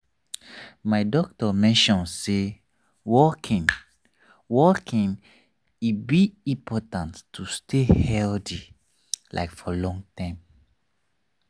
my doctor mention say walking walking e be important to stay healthy like for long term.